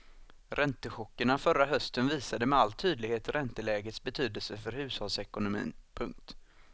Räntechockerna förra hösten visade med all tydlighet räntelägets betydelse för hushållsekonomin. punkt